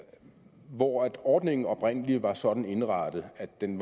hvor ordningen oprindelig var sådan indrettet at den